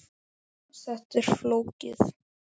Þetta er flókið.